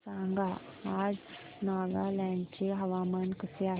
सांगा आज नागालँड चे हवामान कसे आहे